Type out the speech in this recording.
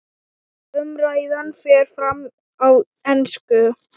Umræðan fer fram á ensku.